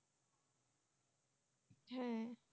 হুম।